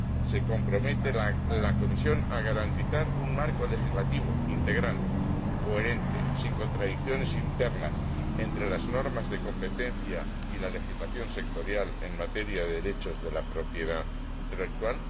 ¿Se compromete la Comisión a garantizar un marco legislativo integral, coherente, sin contradicciones internas entre las normas de competencia y la legislación sectorial en materia de derechos de la propiedad intelectual?